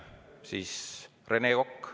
Siis Rene Kokk.